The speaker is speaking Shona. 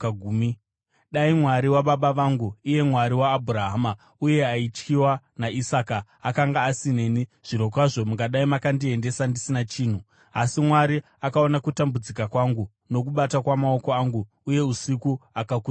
Dai Mwari wababa vangu, iye Mwari waAbhurahama uye aityiwa naIsaka, akanga asineni, zvirokwazvo mungadai makandiendesa ndisina chinhu. Asi Mwari akaona kutambudzika kwangu nokubata kwamaoko angu, uye usiku akakutsiurai.”